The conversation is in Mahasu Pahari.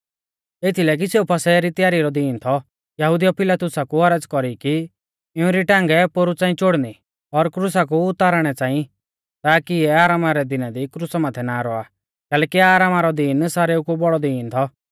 एथीलै कि सेऊ फसह री त्यारी रौ दिन थौ यहुदिउऐ पिलातुसा कु औरज़ कौरी कि इऊं री टांगै पोरु च़ांई चोड़नी और क्रुसा कु उतारणै च़ांई ताकी इऐ आरामा रै दिना दी क्रुसा माथै ना रौआ कैलैकि आरामा रौ दिन सारेऊ कु बौड़ौ दिन थौ